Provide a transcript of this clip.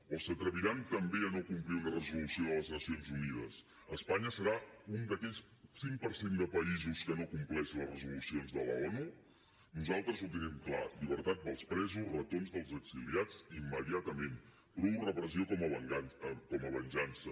o s’atreviran també a no complir una resolució de les nacions unides espanya serà un d’aquell cinc per cent de països que no compleix les resolucions de l’onu nosaltres ho tenim clar llibertat per als presos retorn dels exiliats immediatament prou repressió com a venjança